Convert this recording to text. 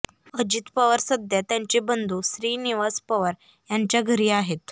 अजित पवार सध्या त्यांचे बंधू श्रीनिवास पवार यांच्या घरी आहेत